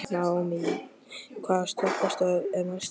Naómí, hvaða stoppistöð er næst mér?